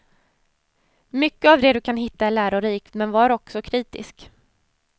Mycket av det du kan hitta är lärorikt, men var också kritisk.